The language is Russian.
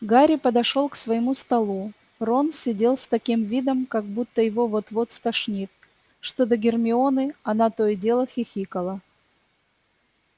гарри подошёл к своему столу рон сидел с таким видом как будто его вот-вот стошнит что до гермионы она то и дело хихикала